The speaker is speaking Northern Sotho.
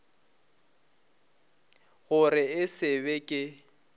gore e se be ke